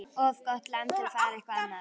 Of gott land til að fara eitthvað annað.